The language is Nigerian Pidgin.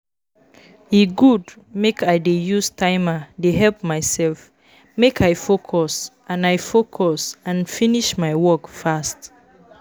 E good make I dey use timer dey help myself make I focus and I focus and finish my work fast.